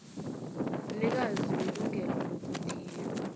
mnikazi welungelo lokuthiya